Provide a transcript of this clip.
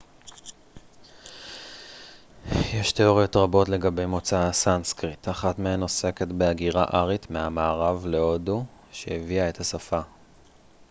יש תיאוריות רבות לגבי מוצא הסנסקריט אחת מהן עוסקת בהגירה ארית מהמערב להודו שהביאה את השפה